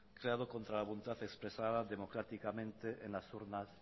creado contra la voluntad expresada democráticamente en las urnas